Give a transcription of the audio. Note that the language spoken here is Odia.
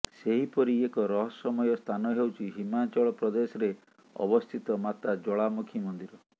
ସେହିପରି ଏକ ରହସ୍ୟମୟ ସ୍ଥାନ ହେଉଛି ହିମାଚଳ ପ୍ରଦେଶରେ ଅବସ୍ଥିତ ମାତା ଜ୍ୱାଳାମୁଖୀ ମନ୍ଦିର